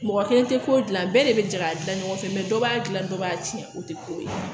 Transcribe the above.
Mɔgɔ kelen tɛ ko gilan bɛɛ de bɛ jɛ ka gilan ɲɔgɔn fɛ dɔ b'a dilan dɔ b'a tiɲɛ o tɛ ko ye